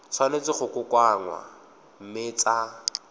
tshwanetse go kokoanngwa mme tsa